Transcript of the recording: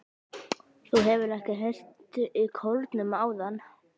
Þú hefur ekki heyrt í kórnum áðan?